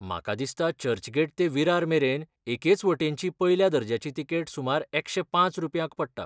म्हाका दिसता चर्चगेट ते विरार मेरेन एकेच वटेनची पयल्या दर्ज्याची तिकेट सुमार एकशे पांच रुपयांक पडटा.